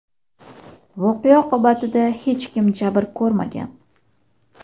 Voqea oqibatida hech kim jabr ko‘rmagan.